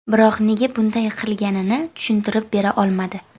Biroq nega bunday qilganini tushuntirib bera olmadi.